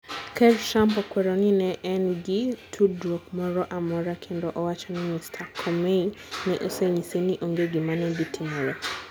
Ker Trump okwero ni ne en gi tudruok moro amora kendo owacho ni Mr. Comey ne osenyise ni onge gima ne dhi timore.